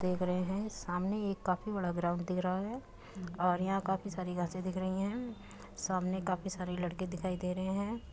देख रहें हैं सामने एक काफी बड़ा ग्राउंड दिख रहा है और यहां काफी सारी घासे दिख रही हैं सामने काफी सारे लड़के दिखाई दे रहे हैं।